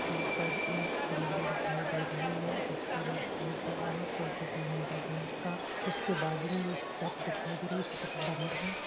यहां पर एक बिल्डिंग दिखाई दे रही है जिस पर एक बोर्ड लगा है कोटक महिंद्रा बैंक का उसके बाजू में शटर दिखाई दे रही है शटर बंद है।